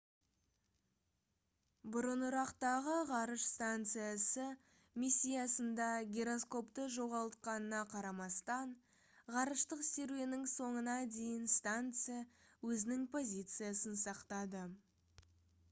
бұрынырақтағы ғарыш станциясы миссиясында гироскопты жоғалтқанына қарамастан ғарыштық серуеннің соңына дейін станция өзінің позициясын сақтады